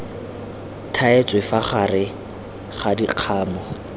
thaetswe fa gare ga dikgamu